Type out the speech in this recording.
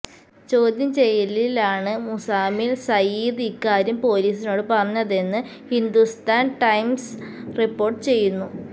ചോദ്യം ചെയ്യലിലാണ് മുസാമിൽ സയീദ് ഇക്കാര്യം പൊലീസിനോട് പറഞ്ഞതെന്ന് ഹിന്ദുസ്ഥാൻ ടൈംസ് റിപ്പോർട്ട് ചെയ്യുന്നു